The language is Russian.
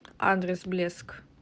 адрес блеск